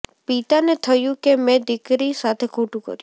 પિતાને થયું કે મેં દીકરી સાથે ખોટું કર્યું